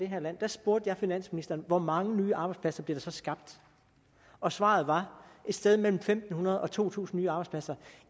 her land spurgte jeg finansministeren hvor mange nye arbejdspladser bliver der så skabt og svaret var et sted mellem fem hundrede og to tusind nye arbejdspladser